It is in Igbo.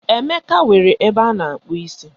Emeka nwere ebe ana-akpu isi